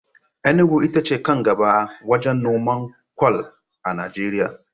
Enugu ita ce kan gaɓa wajen noman kwal a Najeriya.